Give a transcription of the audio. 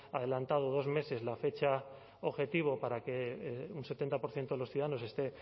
adelantado dos meses la fecha objetivo para que un setenta por ciento de los ciudadanos esté